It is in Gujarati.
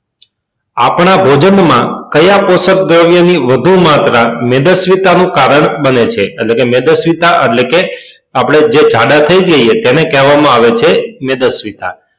આપણા ભોજન માં કયા કોષ્ક દ્રવ્ય ની વધુ માત્ર મેદસ્વીતા નું કારણ બને છે એટલે કે મેદસ્વીતા એટલે કે આપડે જે ઝાડા થઇ જાય એને કહે છે મેદસ્વીતા